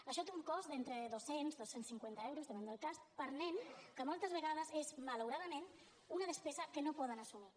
això té un cost entre dos cents dos cents i cinquanta euros depèn del cas per nen que moltes vegades és malauradament una despesa que no poden assumir